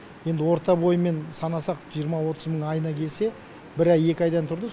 енді орта бойымен санасақ жиырма отыз мың айына келсе бір ай екі айдан тұрды